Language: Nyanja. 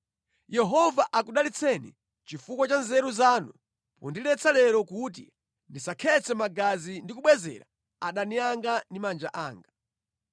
Yehova akudalitseni chifukwa cha nzeru zanu pondiletsa lero kuti ndisakhetse magazi ndi kubwezera adani anga ndi manja anga.